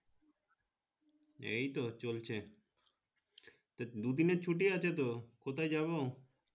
এইতো চলছে তো দুইদিনের ছুটি আছে তো কোথায় যাবো?